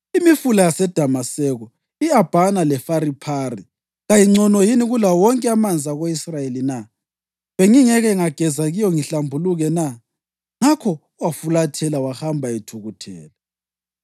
Imifula yaseDamaseko, i-Abhana leFariphari kayingcono yini kulawo wonke amanzi ako-Israyeli na? Bengingeke ngageza kiyo ngihlambuluke na?” Ngakho wafulathela wahamba ethukuthele.